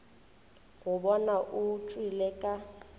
go bona o tšwele ka